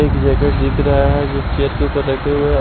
एक जैकेट दिख रहा है जो कि चेयर के ऊपर रखे हुए है।